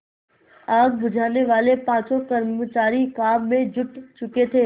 आग बुझानेवाले पाँचों कर्मचारी काम में जुट चुके थे